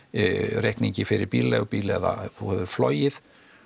reikning fyrir bílaleigubíl eða þú hefur flogið